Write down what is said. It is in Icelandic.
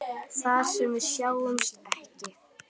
Þar sem við sjáumst ekki.